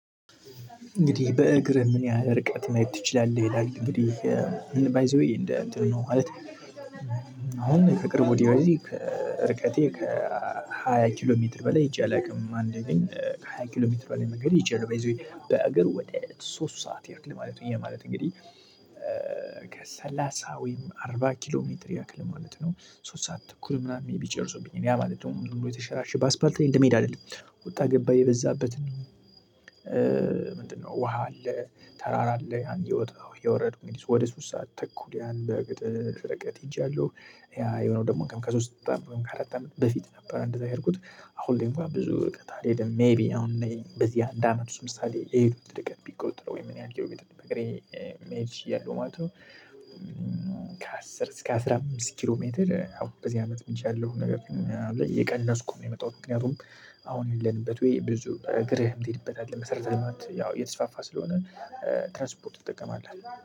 እንግዲህ በእግር ምን ያህል ርቀት መሄድ ትችላለህ? ይላል እንግዲህ ባይ ዘዌይ እንደ አሁን ከቅርቡ ወዲያ እዚህ ርቀቴ ከሃያ ኪሎ ሜትር በላይ ሂጄ አላውቅም። አንዴ ግን ከሃያ ኪሎ ሜትር በላይ መንገድ ይቻላል ባይ ዘ ዌይ በአገር ወደ ሶስት ሰዓት የሄድኩት ማለት ነው። ያ ማለት እንግዲህ ከሰላሳ ወይም አርባ ኪሎ ሜትር ያክል ማለት ነው። ሶስት ሰዓት ተኩል ምናምን ቢጨርሱብኝ ያ ማለት ነው። ሁሉ የተሸራሸበት አስፓልት እንደመሄድ አይደለም ወጣ ገባ የበዛበት ነው። ምንድነው ውሃ አለ፣ ተራራ አለ እየወጣሁ እየወረዱ ወደ ሶስት ሰዓት ተኩል ያን በቅጥ ፍለቀት ሄጃለሁ። የሆነው ደግሞ ከሶስት አራት አመት ከአራት አመት በፊት ነበር። እንደዛ የሄድኩት አሁን ደግሞ ብዙ ርቀት አልሄድም። ሜይቢ አሁን በዚህ አንድ አመት ምሳሌ የሄዱት ርቀት ቢቆጥረው ወይ ምን ያህል ጊዜ በእግሬ መሄድ ችያለው ማለት ነው። ከአስር እስከ አስራ አምስት ኪሎ ሜትር አሁን በዚህ አመትም ሂጃለሁ ነገር ግን ምናምን የቀነስኩ የመጣሁት ምክንያቱም አሁን ያለንበት ወይ ብዙ እግርህም ትሄድበታለህ መሰረተ ልማት ያው እየተስፋፋ ስለሆነ ትራንስፖርት ትጠቀማለህ